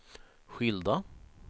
skilda